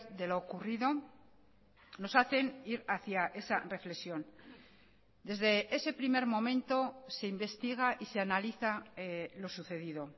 de lo ocurrido nos hacen ir hacia esa reflexión desde ese primer momento se investiga y se analiza lo sucedido